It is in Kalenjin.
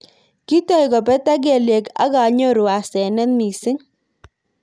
Kitoi kobetak kelyek ak anyoru asenet mising.